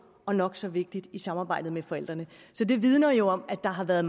og nok så vigtigt i samarbejdet med forældrene så det vidner jo om at der har været